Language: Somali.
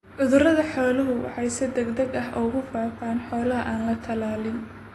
Cudurrada xooluhu waxay si degdeg ah ugu faafaan xoolaha aan la tallaalin.